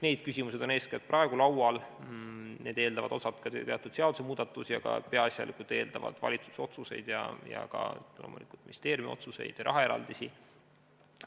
Need küsimused on praegu laual, need eeldavad osalt ka teatud seadusemuudatusi, aga peaasjalikult eeldavad need valitsuse otsuseid ja ka loomulikult ministeeriumi otsuseid ja rahaeraldisi.